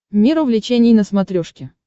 мир увлечений на смотрешке